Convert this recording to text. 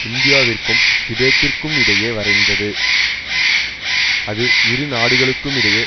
இந்தியாவிற்கும் திபெத்திற்கும் இடையே வரைந்தது அது இரு நாடுகளுக்கும் இடையே